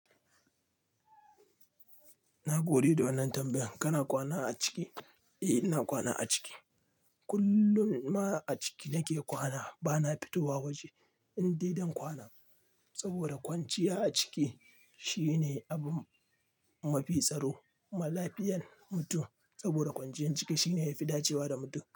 Na gode da wannan tambayan. Kana kwana a ciki? Eh, ina kwana a ciki. Kullum ma a ciki nake kwana. Bana fitowa waje, in dai dan kwana, saboda kwanciya a ciki shine abu mafi tsaro. Ma lafiyan mutum, saboda kwanciyan ciki shine ya fi dacewa da mutum.